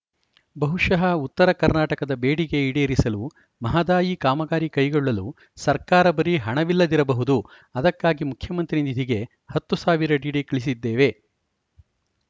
ಬಹುಶಃ ಉತ್ತರ ಕರ್ನಾಟಕದ ಬೇಡಿಕೆ ಈಡೇರಿಸಲು ಮಹದಾಯಿ ಕಾಮಗಾರಿ ಕೈಗೊಳ್ಳಲು ಸರ್ಕಾರ ಬಳಿ ಹಣವಿಲ್ಲದಿರಬಹುದು ಅದಕ್ಕಾಗಿ ಮುಖ್ಯಮಂತ್ರಿ ನಿಧಿಗೆ ಹತ್ತು ಸಾವಿರ ಡಿಡಿ ಕಳುಹಿಸಿದ್ದೇವೆ